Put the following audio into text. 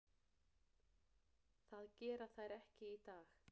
Það gera þær ekki í dag.